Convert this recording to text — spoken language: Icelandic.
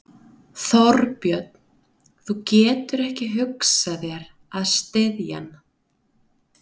Þorbjörn: Þú getur ekki hugsað þér að styðja hann?